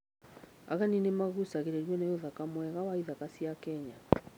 Ageni nĩ magucagĩrĩrio nĩ ũthaka mwega wa ithaka cia Kenya.